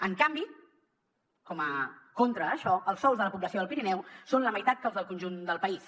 en canvi contra això els sous de la població del pirineu són la meitat que els del conjunt del país